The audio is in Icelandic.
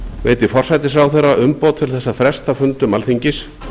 veiti forsætisráðherra umboð til þess að fresta fundum alþingis